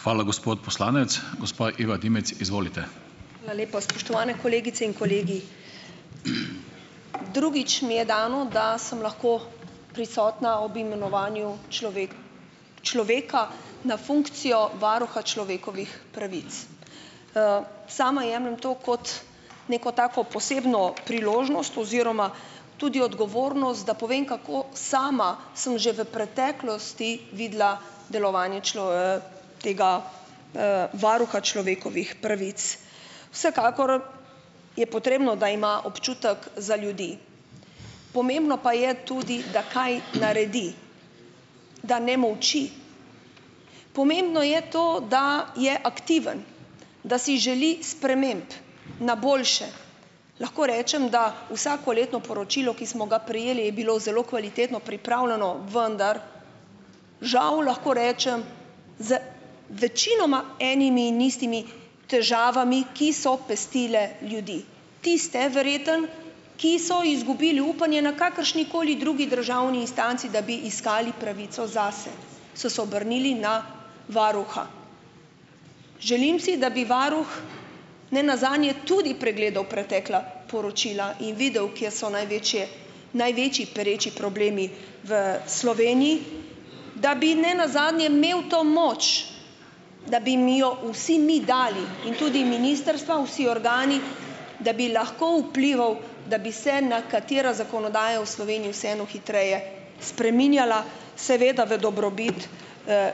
Hvala lepa. Spoštovane kolegice in kolegi. Drugič mi je dano, da sem lahko prisotna ob imenovanju človeka na funkcijo varuha človekovih pravic. Sama jemljem to kot neko tako posebno priložnost oziroma tudi odgovornost, da povem, kako sama sem že v preteklosti videla delovanje tega, varuha človekovih pravic. Vsekakor je potrebno, da ima občutek za ljudi. Pomembno pa je tudi, da kaj naredi, da ne molči. Pomembno je to, da je aktiven, da si želi sprememb na boljše. Lahko rečem, da vsakoletno poročilo, ki smo ga prejeli, je bilo zelo kvalitetno pripravljeno, vendar žal, lahko rečem, z večinoma enimi in istimi težavami, ki so pestile ljudi. Tiste verjetno, ki so izgubili upanje na kakršnikoli drugi državni instanci, da bi iskali pravico zase, so se obrnili na varuha. Želim si, da bi varuh ne nazadnje tudi pregledal pretekla poročila in videl, kje so največje največji pereči problemi v Sloveniji, da bi ne nazadnje imel to moč, da bi mi jo vsi mi dali, in tudi ministrstva, vsi organi, da bi lahko vplival, da bi se nekatera zakonodaja v Sloveniji vseeno hitreje spreminjala, seveda v dobrobit,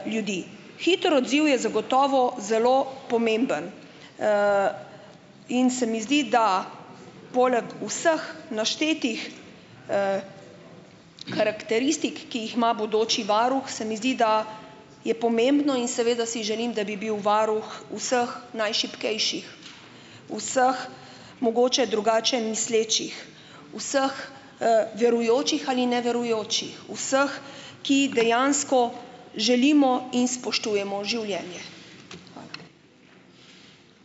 ljudi. Hiter odziv je zagotovo zelo pomemben in se mi zdi, da poleg vseh naštetih karakteristik, ki jih ima bodoči varuh, se mi zdi, da je pomembno, in seveda si želim, da bi bil varuh vseh najšibkejših, vseh mogoče drugače mislečih, vseh, verujočih ali neverujočih, vseh, ki dejansko želimo in spoštujemo življenje. Hvala.